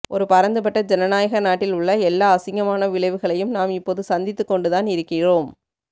ஒரு பரந்துபட்ட ஜனநாயக நாட்டில் உள்ள எல்லா அசிங்கமான விளைவுகளையும் நாம் இப்போது சந்தித்துக் கொண்டுதான் இருக்கிறோம்